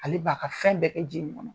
Ale b'a ka fɛn bɛɛ kɛ ji in kɔnɔ.